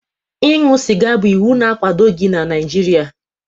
Ịṅụ sịga bụ iwu na-akwadoghị n'Naijiria.